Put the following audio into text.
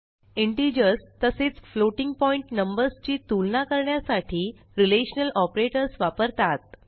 integers तसेच floating point numbers ची तुलना करण्यासाठी रिलेशनल ऑपरेटर्स वापरतात